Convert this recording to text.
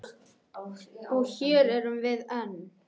Og hér erum við enn.